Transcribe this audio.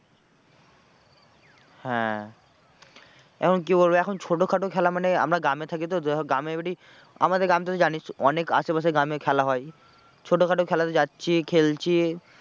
হ্যাঁ এখন কি বলবো এখন ছোটো খাটো খেলা মানে আমরা গ্রামে থাকি তো এখন গ্রামের বাড়ি আমাদের গ্রামটা তো জানিস অনেক আশেপাশে গ্রামে খেলা হয় ছোটোখাটো খেলাতে যাচ্ছি খেলছি।